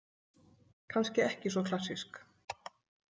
Kannski ekki svo klassísk